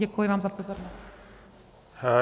Děkuji vám za pozornost.